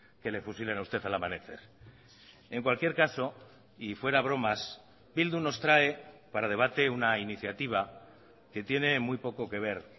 que le fusilen a usted al amanecer en cualquier caso y fuera bromas bildu nos trae para debate una iniciativa que tiene muy poco que ver